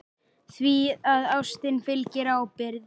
Því að ástinni fylgir ábyrgð.